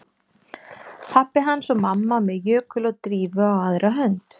Pabbi hans og mamma með Jökul og Drífu á aðra hönd